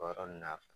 O yɔrɔnin na